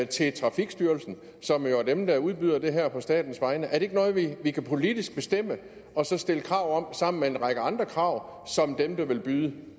til trafikstyrelsen som jo er dem der udbyder det her på statens vegne er det ikke noget vi politisk kan bestemme og så stille krav om sammen med en række andre krav som dem der vil byde